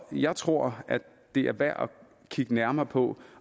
jeg tror at det er værd at kigge nærmere på